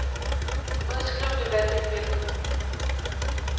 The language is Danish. Udskriv det valgte felt.